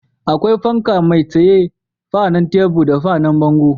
Akwai fanka mai tsaye, fanan tebur da fanan bango